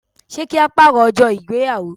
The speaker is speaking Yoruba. Ṣé ka paro ọjọ́ ìgbéyàwó?